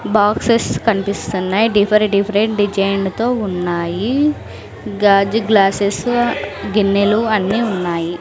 Boxes కనిపిస్తున్నాయి differ different డిజైన్లతో ఉన్నాయి గాజు గ్లాసెస్ గిన్నెలు అన్ని ఉన్నాయి.